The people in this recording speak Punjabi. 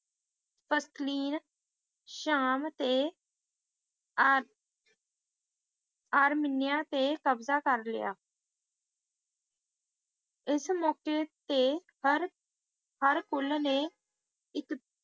ਤਸਲੀਨ ਸ਼ਾਮ ਤੇ ਆਰ` ਅਰਮੀਨੀਆ ਤੇ ਕਬਜ਼ਾ ਕਰ ਲਿਆ ਇਸ ਮੌਕੇ ਤੇ ਹਰ`ਹਰਕੁਲ ਨੇ ਇਸ